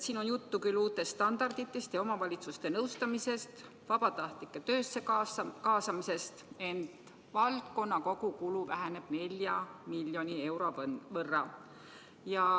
Siin on juttu uutest standarditest, omavalitsuste nõustamisest ja vabatahtlike töösse kaasamisest, ent valdkonna kogukulu väheneb 4 miljoni euro võrra.